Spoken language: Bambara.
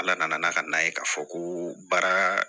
Ala nana n'a ka na ye k'a fɔ ko baara